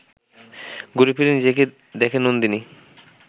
ঘুরেফিরে নিজেকে দেখে নন্দিনী